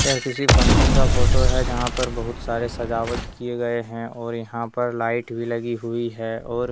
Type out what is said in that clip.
यह किसी फंक्शन का फोटो है जहां पर बहुत सारे सजावट किए गए हैं और यहां पर लाइट भी लगी हुई है और --